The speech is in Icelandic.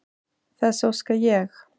Þess óska ég.